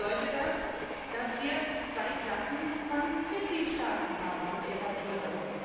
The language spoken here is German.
Praktisch bedeutet das, dass wir zwei Klassen von Mitgliedstaaten haben und etablieren.